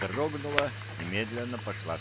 дрогнула и медленно пошла